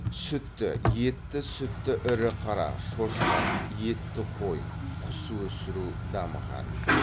сүтті етті сүтті ірі қара шошқа етті қой құс өсіру дамыған